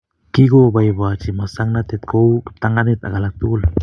Kikoboibochi masongnatet kou kiptanganyit ak alak tukul